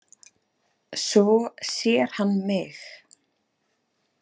Svo sér hann mig.